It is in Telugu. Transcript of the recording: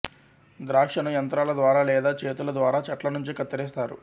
ద్రాక్షను యంత్రాల ద్వారా లేదా చేతుల ద్వారా చెట్ల నుంచి కత్తరిస్తారు